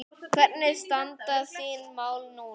Hvernig standa þín mál núna?